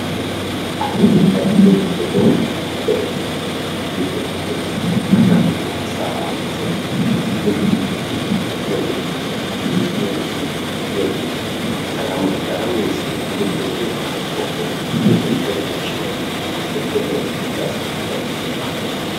Antuwoye ngatiziye zvibhedhlera zvakati komberedza, kuitira kuti tikasangana nematambudziko tisambaaneseka tiziye kuti ichi chinode ichi, ichi chinode ichi, saka muntu gara weiziya kuti ngekuri kweunoona magomboti ,ngekuri kwaunoona mushonga, ngekuri kwaunoona zvinokubatsira utano hwako.